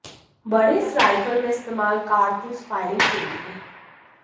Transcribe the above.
बड़े इस राइफल में इस्तेमाल कारतूस फायरिंग के लिए